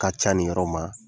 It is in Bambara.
Ka ca nin yɔrɔ ma.